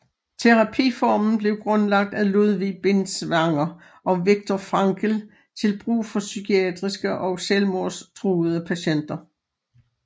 Terapiformen blev grundlagt af Ludwig Binswanger og Viktor Frankl til brug for psykiatriske og selvmordstruede patienter